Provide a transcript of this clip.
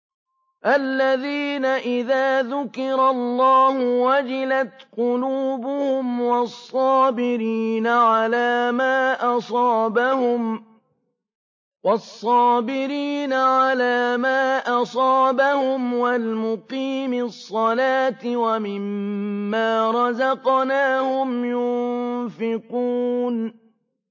الَّذِينَ إِذَا ذُكِرَ اللَّهُ وَجِلَتْ قُلُوبُهُمْ وَالصَّابِرِينَ عَلَىٰ مَا أَصَابَهُمْ وَالْمُقِيمِي الصَّلَاةِ وَمِمَّا رَزَقْنَاهُمْ يُنفِقُونَ